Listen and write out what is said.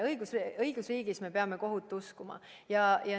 Õigusriigis me peame kohut uskuma.